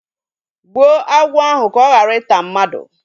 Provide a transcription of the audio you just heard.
Gbuo agwọ ahụ ka ọ ghara ịta mmadụ!